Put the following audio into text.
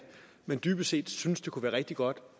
man dybest set synes det kunne være rigtig godt